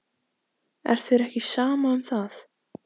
Er þér ekki sama um það?